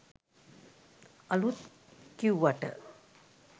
අලුත් කිවුවට